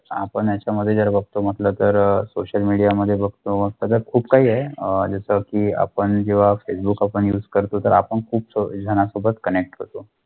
आपण येचा मधे जर बगथो मॅतलॅब थर सोशल मीडिया मधे बगथो कुप सारे आहे अह जैसा की आपण जेव्‍हा फेसबुक युस करथो थर आपण कुप जना सोबत कनेक्ट होथो.